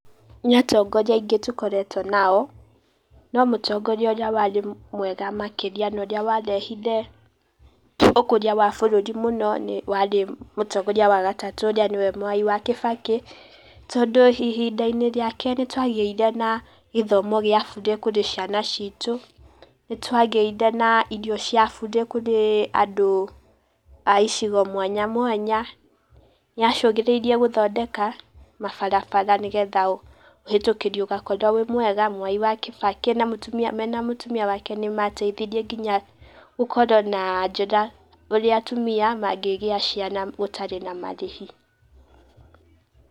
Nĩ atongoria aingĩ tũkoretwo nao no mũtogoria ũria warĩ mwega makĩria na ũria warehire ũkũria wa bũrũri mũno nĩ warĩ mũtongoria wa gatatũ ũria nĩwe Mwai wa Kibaki tondũ ihinda-inĩ riake nĩtwagĩire na gĩthomo gĩa burĩ kũrĩ ciana citũ, nĩtwagĩire na irio cia burĩ kũrĩ andũ a icigo mwanya mwanya, nĩacũgĩrĩirie gũthondeka mabarabara nĩgetha ũhĩtũkĩri ũgakorwo wĩ mwega, Mwai wa Kibaki na mũtumia mena mũtumia wake nĩmateithirie nginya gũkorwo na njĩra ũria atumia mangĩgia ciana gũtarĩ na marĩhi